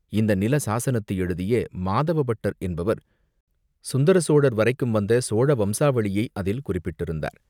இந்த நில சாஸனத்தை எழுதிய மாதவ பட்டர் என்பவர் சுந்தர சோழர் வரைக்கும் வந்த சோழ வம்சாளியை அதில் குறிப்பிட்டிருந்தார்.